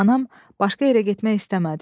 Anam başqa yerə getmək istəmədi.